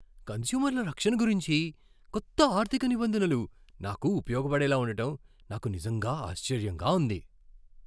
కన్స్యూమర్ల రక్షణ గురించి కొత్త ఆర్థిక నిబంధనలు నాకు ఉపయోగపడేలా ఉండటం నాకు నిజంగా ఆశ్చర్యంగా ఉంది.